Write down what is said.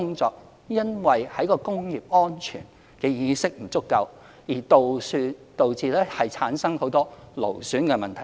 當然，在工業安全意識不足下，有很多工作會導致勞損的問題。